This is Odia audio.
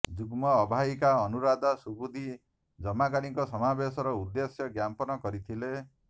ଯୁଗ୍ମ ଆବାହିକା ଅନୁରାଧା ସୁବୁଦ୍ଧି ଜମାକାରୀଙ୍କ ସମାବେଶର ଉଦ୍ଦ୍ୟେଶ ଜ୍ଞାପନ କରିଥିଲେ